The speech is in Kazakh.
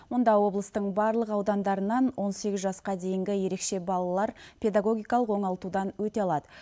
мұнда облыстың барлық аудандарынан он сегіз жасқа дейінгі ерекше балалар педагогикалық оңалтудан өте алады